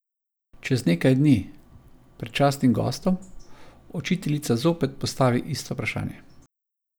Čez nekaj dni, pred častnim gostom, učiteljica zopet postavi isto vprašanje.